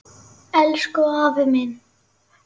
Elsku afi minn.